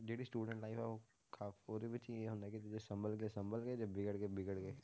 ਜਿਹੜੀ student life ਹੈ ਉਹ ਵਿੱਚ ਇਹ ਹੁੰਦਾ ਕਿ ਜੇ ਸੰਭਲ ਗਏ ਸੰਭਲ ਗਏ ਜੇ ਵਿਗੜ ਗਏ ਵਿਗੜ ਗਏ,